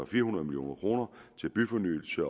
fire hundrede million kroner til byfornyelse